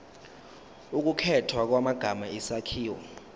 ukukhethwa kwamagama isakhiwo